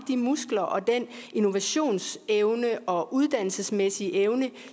de muskler og den innovationsevne og uddannelsesmæssige evne